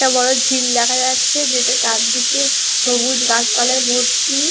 একটা বড় ঝিল দেখা যাচ্ছে যেটা চারদিকে সবুজ গাছপালায় ভর্তি।